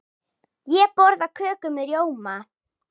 Ég borða köku með rjóma.